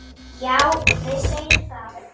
Já, við segjum það.